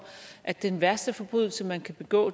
at den værste forbrydelse man kan begå